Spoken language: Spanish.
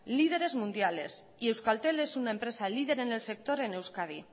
líderes mundiales y euskaltel es una empresa lider en el sector en euskadi